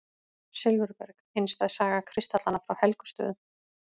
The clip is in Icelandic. Silfurberg: einstæð saga kristallanna frá Helgustöðum.